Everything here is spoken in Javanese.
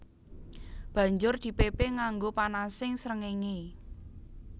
Banjur dipépé nganggo panasing srengéngé